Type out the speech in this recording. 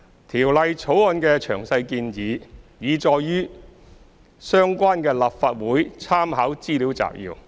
《條例草案》的詳細建議，已載述於相關的立法會參考資料摘要。